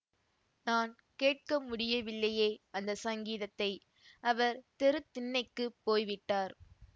நான் கேட்கமுடியவில்லையே அந்த சங்கீதத்தை அவர் தெருத்திண்ணைக்குப் போய்விட்டார்